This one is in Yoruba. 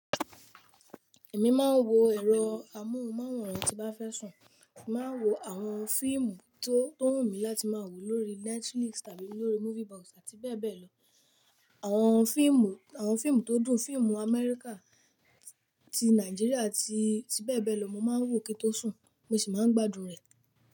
Èmi máa ń wo ẹ̀rọ amóhùnmáwòrán tí bá fẹ́ sùn. Mo máa wo àwọn fíìmù tó, tó wù mí láti máa wò lórí Netflix tàbí lórí Movie Box àti bẹ́ẹ̀ bẹ́ẹ̀ lọ. Àwọn fíìmù, àwọn fíìmù tó dùn, fíìmù Amẹ́ríkà, ti Nàìjíríà àti, àti bẹ́ẹ̀ bẹ́ẹ̀ lọ. Mo máa ń wò kí ó tó sùn, mo sì máa ń gbádùn rẹ̀.